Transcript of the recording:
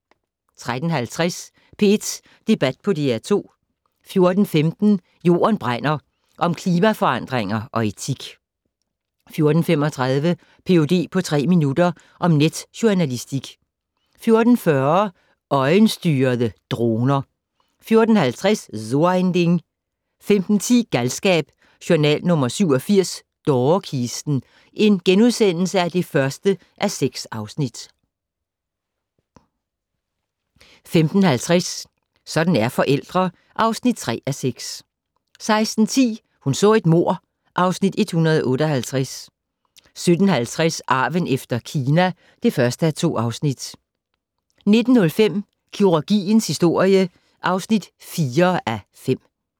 13:50: P1 Debat på DR2 14:15: Jorden brænder - om klimaforandringer og etik 14:35: Ph.d. på tre minutter - om netjournalistik 14:40: Øjenstyrede droner 14:50: So ein Ding 15:10: Galskab: Journal nr. 87 - Dårekisten (1:6)* 15:50: Sådan er forældre (3:6) 16:10: Hun så et mord (Afs. 158) 17:50: Arven efter Kina (1:2) 19:05: Kirurgiens historie (4:5)